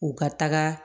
U ka taga